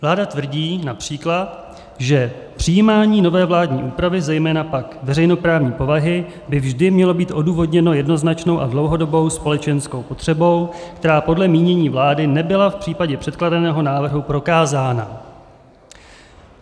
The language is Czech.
Vláda tvrdí, například, že přijímání nové vládní úpravy, zejména pak veřejnoprávní povahy, by vždy mělo být odůvodněno jednoznačnou a dlouhodobou společenskou potřebou, která podle mínění vlády nebyla v případě předkládaného návrhu prokázána.